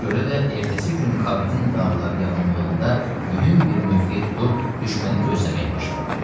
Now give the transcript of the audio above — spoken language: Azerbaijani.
Buna görə də ertəsi gün Kavidin dağları yaxınlığında mühüm bir mövqe tutub düşməni gözləməyə başladı.